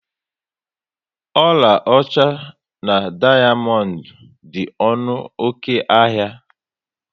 Ọlaọcha na dayamondu dị ọnụ oké ahịa